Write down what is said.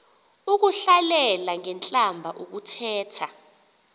ukuhlalela ngentlamba ukuthetha